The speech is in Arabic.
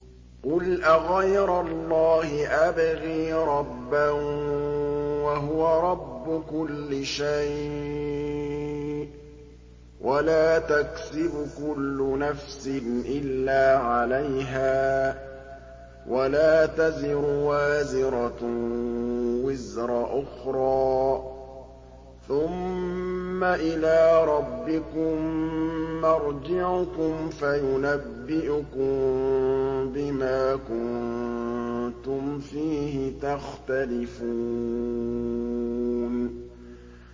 قُلْ أَغَيْرَ اللَّهِ أَبْغِي رَبًّا وَهُوَ رَبُّ كُلِّ شَيْءٍ ۚ وَلَا تَكْسِبُ كُلُّ نَفْسٍ إِلَّا عَلَيْهَا ۚ وَلَا تَزِرُ وَازِرَةٌ وِزْرَ أُخْرَىٰ ۚ ثُمَّ إِلَىٰ رَبِّكُم مَّرْجِعُكُمْ فَيُنَبِّئُكُم بِمَا كُنتُمْ فِيهِ تَخْتَلِفُونَ